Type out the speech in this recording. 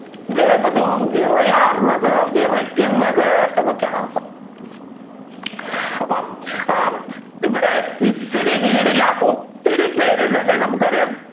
വേപതു വിറയാർന്നത് വിറയ്ക്കുന്നത് എന്നൊക്കെയാണ് അർഥം. അപ്പൊ ഇവിടെ ഇത്തിരി വീടില്ലാത്ത ഒത്തിരി പേർ ഉണ്ട് അല്ലെ നമ്മുക്ക് അറിയാം